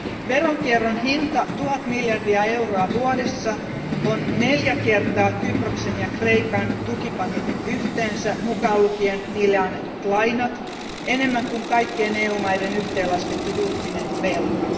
Veronkierron hinta, tuhat miljardia euroa vuodessa, on neljä kertaa Kyproksen ja Kreikan tukipaketit yhteensä, mukaan lukien niille myönnetyt lainat, enemmän kuin kaikkien EU maiden yhteenlaskettu julkinen velka.